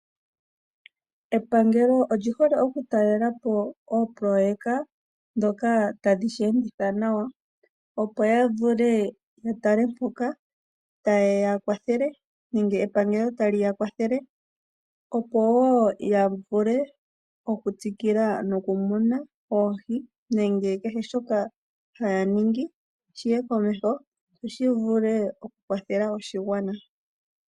Epangelo olyihole okutalela po oopoloweka ndhoka tadhi sheenditha nawa, opo yavule yatale mpoka taye ya kwathele nenge epangelo tali yakwathele. Opo wo yavule okutsikila nokumuna oohi nenge kehe shoka haya ningi shiye komeho, opo shivule okukwathela oshigwana.